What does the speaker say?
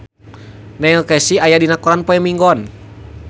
Neil Casey aya dina koran poe Minggon